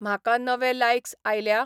म्हाका नवे लायकस् आयल्या ?